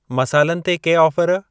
मसालनि ते के ऑफर?